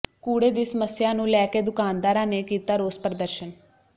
ਕੂੜੇ ਦੀ ਸਮੱਸਿਆ ਨੰੂ ਲੈ ਕੇ ਦੁਕਾਨਦਾਰਾਂ ਨੇ ਕੀਤਾ ਰੋਸ ਪ੍ਰਦਰਸ਼ਨ